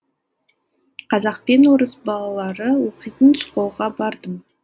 қазақ пен орыс балалары оқитын школға бардым